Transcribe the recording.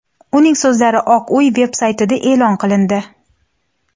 uning so‘zlari Oq uy veb-saytida e’lon qilindi.